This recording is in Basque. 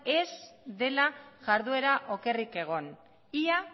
ez dela jarduera okerrik egon ia